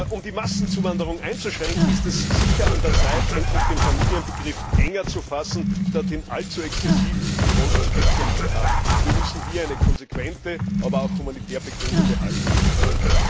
Um die Massenzuwanderung einzuschränken, ist es sicher an der Zeit, endlich den Familienbegriff enger zu fassen, statt ihn allzu exzessiv großzügig zu handhaben. Wir müssen hier eine konsequente, aber auch humanitär begründete Haltung ausüben.